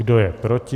Kdo je proti?